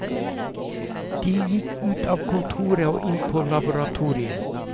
De gikk ut av kontoret og inn på laboratoriet.